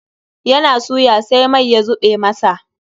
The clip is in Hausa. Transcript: Ya na suya sai mai ya zuɓe masa.